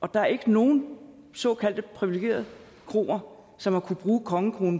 og der er ikke nogen såkaldte privilegerede kroer som har kunnet bruge kongekronen